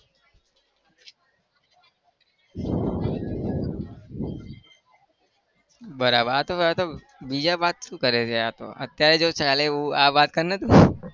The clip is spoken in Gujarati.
બરાબર આ તો આ તો બીજા વાત શું કરે છે? આ તો અત્યારે જે ચાલે એવું આ વાત કર ને તું.